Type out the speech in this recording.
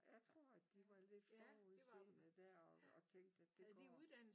Jeg tror at de var lidt forudseende der og og tænkte at det går